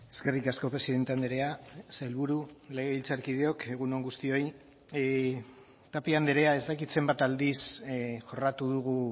eskerrik asko presidente andrea sailburu legebiltzarkideok egun on guztioi tapia andrea ez dakit zenbat aldiz jorratu dugu